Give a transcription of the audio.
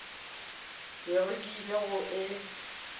bego ke ile go e